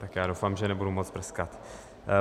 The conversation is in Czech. Tak já doufám, že nebudu moc prskat.